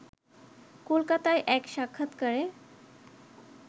কলকাতায় এক সাক্ষাত্কারে